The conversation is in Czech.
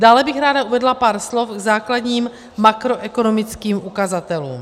Dále bych ráda uvedla pár slov k základním makroekonomickým ukazatelům.